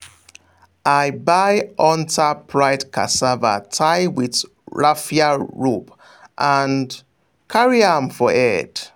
i buy hunter pride cassava tie with raffia rope and carry am for head.